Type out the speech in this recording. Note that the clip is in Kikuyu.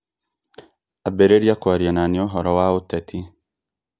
ambĩrĩria kwaria na niĩ ũhoro wa ũteti.